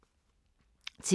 TV 2